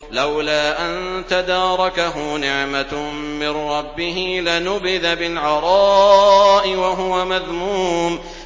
لَّوْلَا أَن تَدَارَكَهُ نِعْمَةٌ مِّن رَّبِّهِ لَنُبِذَ بِالْعَرَاءِ وَهُوَ مَذْمُومٌ